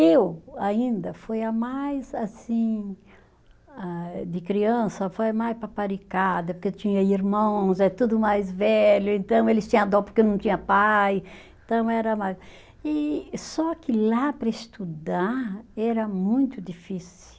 Eu, ainda, foi a mais, assim, ah de criança, foi a mais paparicada, porque eu tinha irmãos, é tudo mais velho, então eles tinham dó porque eu não tinha pai, então era mais, e só que lá, para estudar, era muito difícil.